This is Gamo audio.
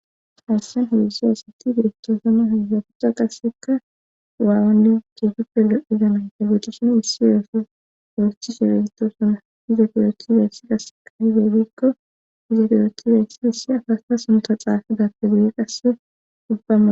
Hayssen heedzdzu asati beettoosana hegapuxa qasseka waawanni ciegippe lo7izamay ta guxishin hissi yooso gostcthi shebesito sona izefiyooti beyssi qasseka hibeygikko izefiyoothi beyssi dhissi afasta sunta xaafi dappe duye qasse dubbama.